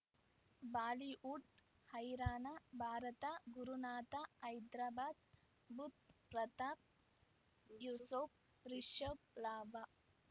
Bollywood ಹೈರಾಣ ಭಾರತ ಗುರುನಾಥ ಹೈದರಾಬಾದ್ ಬುಧ್ ಪ್ರತಾಪ್ ಯೂಸುಫ್ ರಿಷಬ್ ಲಾಭ